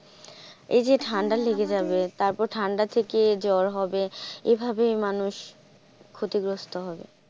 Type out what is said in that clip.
এই যে ঠান্ডা লেগে যাবে, তারপর ঠান্ডা থেকে জ্বর হবে এভাবেই মানুষ ক্ষতিগ্রস্ত হবে.